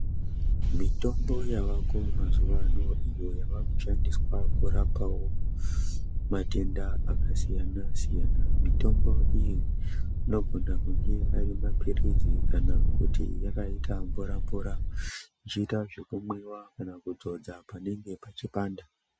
Mitombo yavako mazuva ano iyo yavakushandiswa kurapa matenda akasiyana siyana mitombo iyi inogona kuva mapirizi kana kuti inogona kuva yakaita mvura mvura zvoita zvekumwiwa kana kuzodza panenge pachipanda.